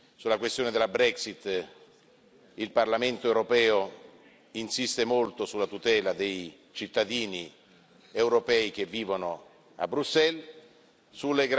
Sulla questione della Brexit il Parlamento europeo insiste molto sulla tutela dei cittadini europei che vivono nel Regno Unito.